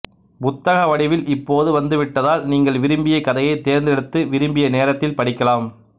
புத்தக வடிவில் இப்போது வந்து விட்டதால் நீங்கள் விரும்பிய கதையைத் தேர்ந்தெடுத்து விரும்பிய நேரத்தில் படிக்கலாம்